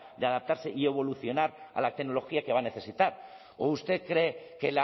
de adaptarse y evolucionar a la tecnología que va a necesitar o usted cree que